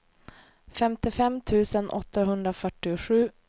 femtiofem tusen åttahundrafyrtiosju